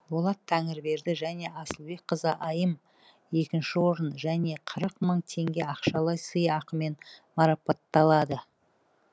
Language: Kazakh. болат тәңірберді және асылбекқызы айым екінші орын және қырық мың теңге ақшалай сыйақымен марапатталады